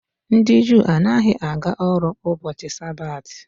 Ndị Juu anaghị aga ọrụ n'ubochi sabati.